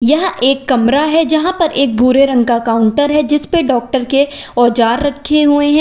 यह एक कमरा है जहां पर एक भूरे रंग का काउंटर है जिस पर डॉक्टर के औजार रखे हुए हैं।